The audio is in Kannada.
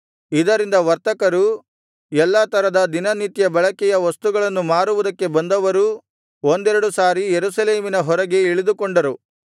ಇದರಿಂದ ವರ್ತಕರೂ ಎಲ್ಲಾ ತರದ ದಿನನಿತ್ಯ ಬಳಕೆಯ ವಸ್ತುಗಳನ್ನು ಮಾರುವುದಕ್ಕೆ ಬಂದವರೂ ಒಂದೆರಡು ಸಾರಿ ಯೆರೂಸಲೇಮಿನ ಹೊರಗೆ ಇಳಿದುಕೊಂಡರು